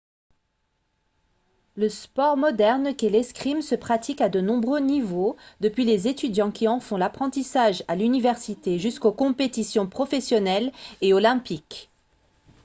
le sport moderne qu'est l'escrime se pratique à de nombreux niveaux depuis les étudiants qui en font l'apprentissage à l'université jusqu'aux compétitions professionnelles et olympiques